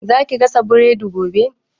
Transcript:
Za ki gasa burodi gobe?